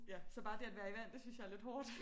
Ja så bare det at være i vand det synes jeg er lidt hårdt